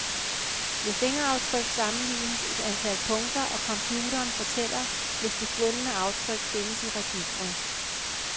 Ved fingeraftryk sammenlignes et antal punkter, og computeren fortæller, hvis det fundne aftryk findes i registret.